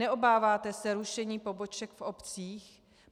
Neobáváte se rušení poboček v obcích?